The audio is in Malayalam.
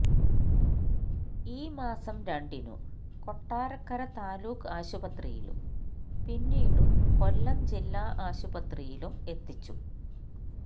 ഈ മാസം രണ്ടിനു കൊട്ടാരക്കര താലൂക്ക് ആശുപത്രിയിലും പിന്നീടു കൊല്ലം ജില്ലാ ആശുപത്രിയിലും എത്തിച്ചു